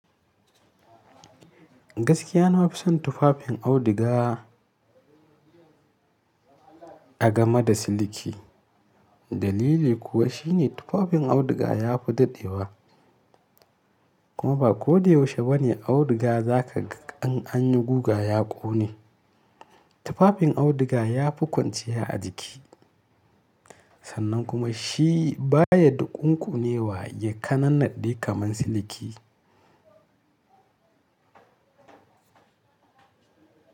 Gaskiya nawa nafion tufafin auduga a gama da siliki. Dalili kuwa shine tufafin auduga yafi daɗewa. Kuma ba ko da yaushe bane auduga zaka ga an anyi guga ya ƙone. Tufafin auduga yafi kwanciya a jiki, sannan kuma shi baya dukunkunewa ya kanannaɗe kaman siliki.